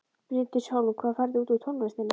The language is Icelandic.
Bryndís Hólm: Hvað færðu út úr tónlistinni?